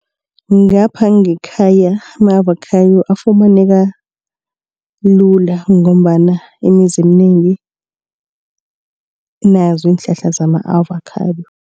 Ngapha ngekhaya ama-avakhado afumaneka lula ngombana imizi eminengi inazo iinhlahla zama-avakhado.